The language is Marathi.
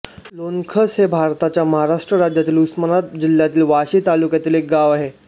लोणखस हे भारताच्या महाराष्ट्र राज्यातील उस्मानाबाद जिल्ह्यातील वाशी तालुक्यातील एक गाव आहे